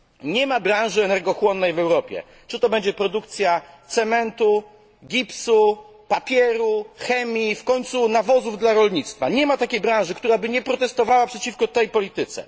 Nie ma branży energochłonnej w Europie, czy to będzie produkcja cementu, gipsu, papieru, chemii, w końcu nawozów dla rolnictwa, która by nie protestowała przeciwko tej polityce.